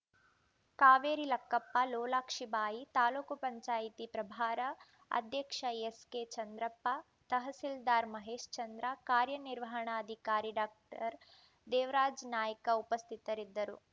ಕಾವೇರಿ ಲಕ್ಕಪ್ಪ ಲೋಲಾಕ್ಷಿ ಬಾಯಿ ತಾಲೂಕ್ ಪಂಚಾಯತಿ ಪ್ರಭಾರ ಅಧ್ಯಕ್ಷ ಎಸ್‌ಕೆ ಚಂದ್ರಪ್ಪ ತಹಸೀಲ್ದಾರ್‌ ಮಹೇಶ್ಚಂದ್ರ ಕಾರ್ಯನಿರ್ವಹಣಾಧಿಕಾರಿ ಡಾಕ್ಟರ್ ದೇವರಾಜ ನಾಯ್ಕ ಉಪಸ್ಥಿತರಿದ್ದರು